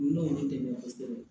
N'o ye n dɛmɛ kosɛbɛ